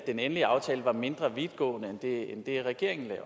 den endelige aftale var mindre vidtgående end det regeringen lagde